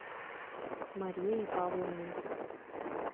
марией павловной